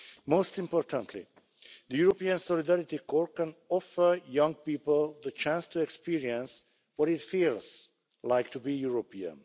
Most importantly, the European Solidarity Corps can offer young people the chance to experience what it feels like to be European.